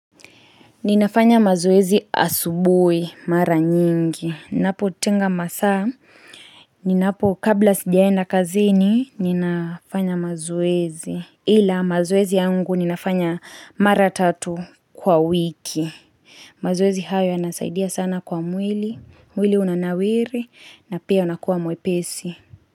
Ninafanya mazoezi asubuhi mara nyingi. Napotinga masaa. Kabla sijaenda kazini, ninafanya mazoezi. Ila mazoezi yangu ninafanya mara tatu kwa wiki. Mazoezi hayo yanasaidia sana kwa mwili. Mwili unanawiri na pia unakua mwepesi.